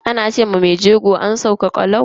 Ana ce wa mai jego "an sauka kalau".